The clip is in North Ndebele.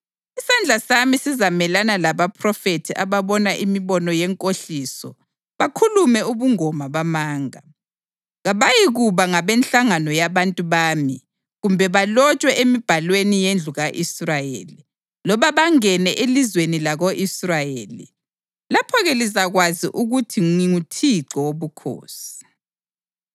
Isandla sami sizamelana labaphrofethi ababona imibono yenkohliso bakhulume ubungoma bamanga. Kabayikuba ngabenhlangano yabantu bami kumbe balotshwe emibhalweni yendlu ka-Israyeli, loba bangene elizweni lako-Israyeli. Lapho-ke lizakwazi ukuthi nginguThixo Wobukhosi.